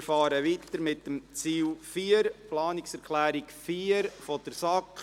Wir fahren weiter mit Ziel 4, Planungserklärung 4 der SAK.